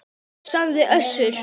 sagði Össur.